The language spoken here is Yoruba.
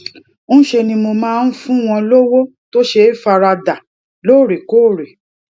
ńṣe ni mo máa ń fún wọn lówó to ṣe faradà lóòrèkóòrè